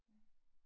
Ja